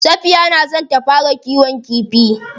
Safiya na son ta fara kiwon kifi.